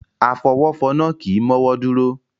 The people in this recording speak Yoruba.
Afọwọ́fọnná kì í mọ́wọ́ dúró.